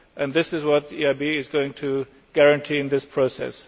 This is what the EIB is going to guarantee in this process.